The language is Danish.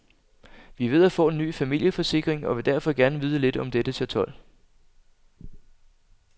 Vi er ved at få ny familieforsikring og vil derfor gerne vide lidt om dette chatol.